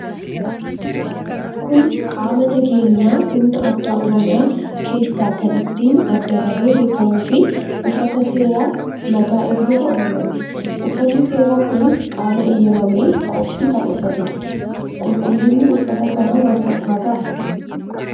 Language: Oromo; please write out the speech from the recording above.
Kun qaama nageenya humna addaa oromiyaa keessa kan ittin adda bahe beekamuu fi uffata seera nagaa eegdota oromiyaati. Uffanni seera kunis qaama eeyyamamee qofti kan uffatudha. Qulqullinni uuffata kanaa maal fakkaata?